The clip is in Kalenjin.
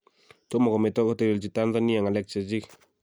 Tomo kometo kotelelgi Tanzania ngalek chechik